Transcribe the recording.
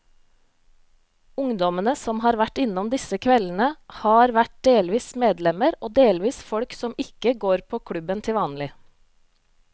Ungdommene som har vært innom disse kveldene, har vært delvis medlemmer og delvis folk som ikke går på klubben til vanlig.